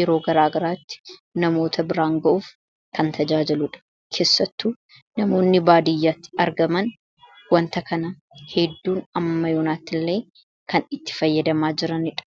yeroo garaagaraatti namoota biraan g'uuf kan tajaajiludha keessattu namoonni baadiyyatti argaman wanta kana hedduun ammayunaatti illee kan itti fayyadamaa jiranidha